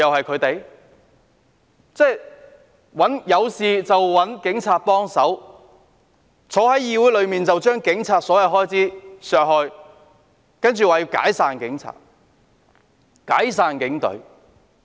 他們有事便找警察幫忙，但在議會裏，卻要將警務處的所有開支削減，並說要解散警隊。